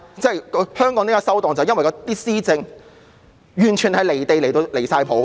香港為何會"收檔"，便是因為施政完全離地，簡直"離晒譜"。